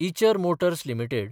Eicher Motors limited